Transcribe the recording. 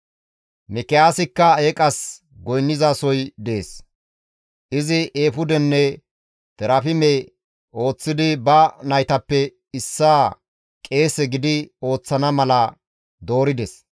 Mikiyaasikka eeqas goynnizasoy dees; izi eefudenne terafime ooththidi ba naytappe issaa qeese gidi ooththana mala doorides.